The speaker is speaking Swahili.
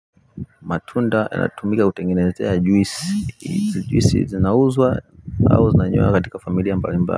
Matunda yanatumika kutengenezea juisi juisi zinauzwa au zinanywewa katika familia mbalimbali.